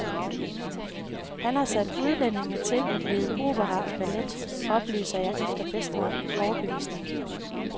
Han har sat udlændinge til at lede opera og ballet, oplyser jeg efter bedste overbevisning.